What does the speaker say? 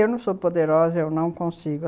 Eu não sou poderosa, eu não consigo.